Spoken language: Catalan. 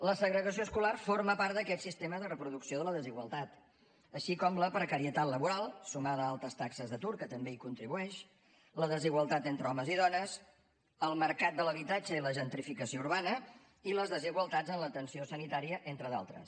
la segregació escolar forma part d’aquest sistema de reproducció de la desigualtat així com la precarietat laboral sumada a altes taxes d’atur que també hi contribueixen la desigualtat entre homes i dones el mercat de l’habitatge i la gentrificació urbana i les desigualtats en l’atenció sanitària entre d’altres